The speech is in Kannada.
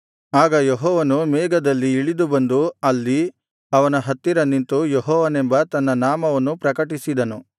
ಆಗ ಯೆಹೋವನು ಮೇಘದಲ್ಲಿ ಇಳಿದು ಬಂದು ಅಲ್ಲಿ ಅವನ ಹತ್ತಿರ ನಿಂತು ಯೆಹೋವನೆಂಬ ತನ್ನ ನಾಮವನ್ನು ಪ್ರಕಟಿಸಿದನು